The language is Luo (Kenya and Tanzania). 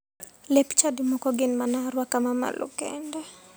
Lep chadi moko gin mana aruaka ma malo kende.